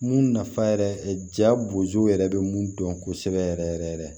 Mun nafa yɛrɛ jabozo yɛrɛ bɛ mun dɔn kosɛbɛ yɛrɛ yɛrɛ yɛrɛ yɛrɛ